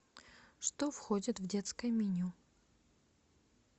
что входит в детское меню